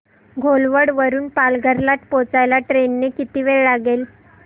घोलवड वरून पालघर ला पोहचायला ट्रेन ने किती वेळ लागेल